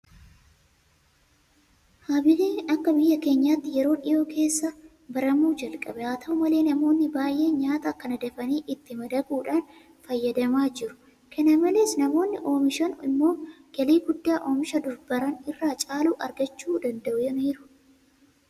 Habaabiin akka biyya keenyaatti yeroo dhiyoo keessa baramuu jalqabe. Haata'u malee namoonni baay'een nyaata kana dafanii itti madaquudhaan fayyadamaa jiru. Kana malees namoonni oomishan immoo galii guddaa oomisha dur baran irra caalu argachuu danda'aniiru.